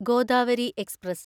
Godavari express